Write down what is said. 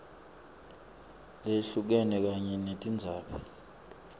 leyehlukene kanye netindzaba